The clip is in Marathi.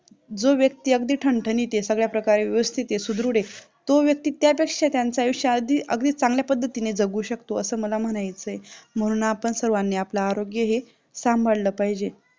जो व्यक्ती अगदी ठणठणीत आहे सगळ्या प्रकारे व्यवस्थित आहे सुदृढ आहे तो व्यक्ती त्या दृष्ट्या त्यांचा आयुष्य अधिक चांगल्या पद्धतीने जगू शकतो असं मला म्हणायचं आहे म्हणून आपण सर्वांनी आपला आरोग्य हे सांभाळलं पाहिजे